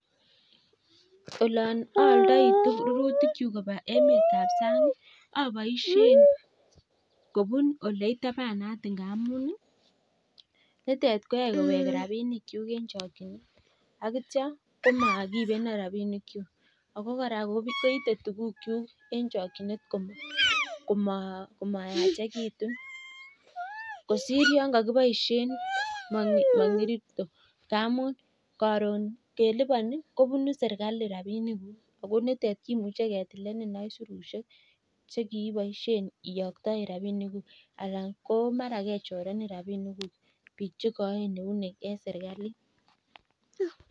Olon oldoi rurutikyuk koba emet ab sang aboishen kobuun ole itabanat ngamun nitet koyae kowek rabinikyuk en chokinet ak kityo komakiibenon rabinikyuk. Ago kora koite tugukyuk en chokinet komayachegitun. Kosir yon kogiboishen mong'irito ngamunkoron keliponi kobune serkali rabinikuk agonitet kimuche ketilenin aisurushek che kiiboisien iyoktaen rabinikuk anan ko mara kechorenin rabinikuk biik che koen eunek en serkalit.